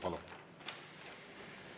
Palun!